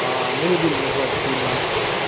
а мы не будем называть их имена